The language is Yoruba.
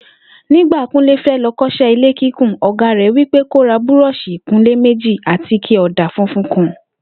Nígbà Kúnlé fé̩ lo̩ kó̩s̩é̩ ilé kíkùn, ò̩gá rè̩ wí pé kó ra búró̩ò̩s̩ì ìkunlé méjì àtike ò̩dà funfun kan